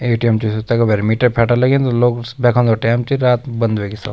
ए.टी.एम च तैका भैर मीटर फेटर लगीं लोग बैखेंदो टैम च रात बंद वेगि सब।